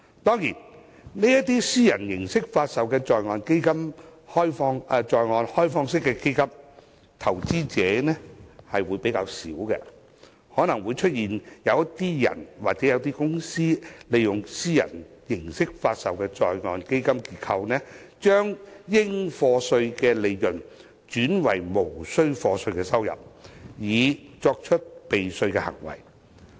當然，這些以私人形式發售的在岸開放式基金的投資者相對較少，可能會出現有個人或公司利用私人形式發售的在岸基金結構，把應課稅的利潤轉為無須課稅的收入，以作出避稅的行為。